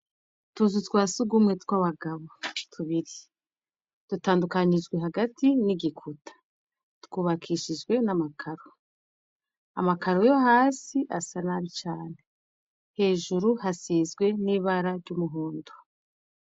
Utuzu twa surwumwe tw' abagabo tubiri. Dutandukanijwe hagati n'igikuta. Twubakishijwe n' amakaro. Amakaro yo hasi asa nabi cane. Hejuru hasizwe n' ibara ry' umuhondo .